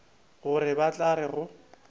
gore ba tla re go